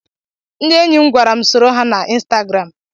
Ndị enyi m gwara m soro ha na ịnstagram.